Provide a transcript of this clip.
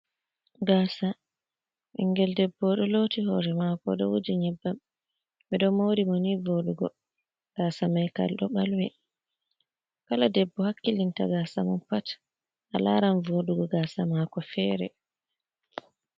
Gaasa ɓinngel debbo oɗo looti hoore mako oɗo wuji nƴebbam, ɓe do moori mo ni vooɗugo. Gasa mai kal ɗo ɓalwi, kala debbo hakkilinta gaasa mun pat a laaran voodugo gaasa mako feere.